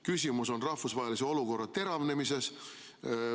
Küsimus on rahvusvahelise olukorra teravnemises.